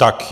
Tak.